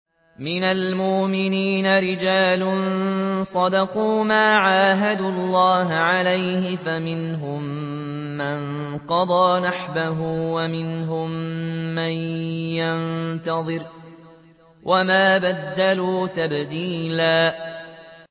مِّنَ الْمُؤْمِنِينَ رِجَالٌ صَدَقُوا مَا عَاهَدُوا اللَّهَ عَلَيْهِ ۖ فَمِنْهُم مَّن قَضَىٰ نَحْبَهُ وَمِنْهُم مَّن يَنتَظِرُ ۖ وَمَا بَدَّلُوا تَبْدِيلًا